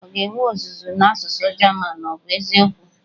Ọ ga-enwe ọzụzụ n'asụsụ German, ọ bụ eziokwu?